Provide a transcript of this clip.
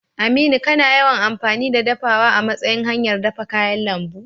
Aminu, kana yawan amfani da dafawa a matsayin hanyar dafa kayan lambu?